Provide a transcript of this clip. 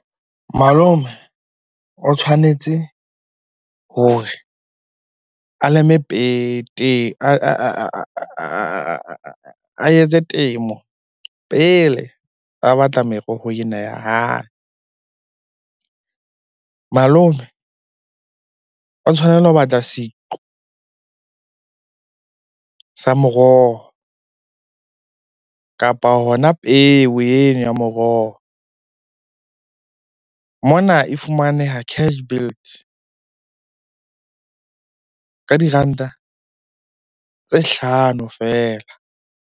Malome o tshwanetse hore a leme pete, a etse temo pele ba batla meroho ena ya hae. Malome o tshwanela ho batla seqo sa moroho, kapa hona peo eno ya moroho. Mona e fumaneha Cashbuild ka diranta tse hlano feela.